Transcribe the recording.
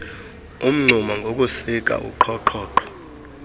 umngxuma ngokusika uqhoqhoqho